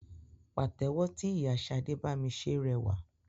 Pàtẹ́wọ́ tí ìyá Ṣadé bami ṣe rẹwà.